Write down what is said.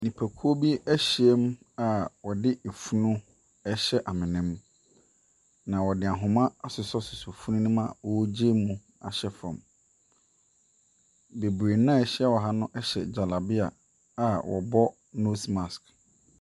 Nipakuo bi ahyiam a wɔde funu rehyɛ amena mu, na wɔde ahoma asosɔsosɔ funu no mu a wɔregyae mu ahyɛ fam. Beree no a wɔhyia wɔ ha no hyɛ jalabia a wɔbɔ nose mask.